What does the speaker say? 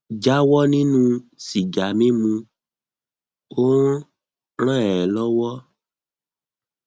jáwọ nínú sìgá mímu ó ń ràn ẹ lọwọ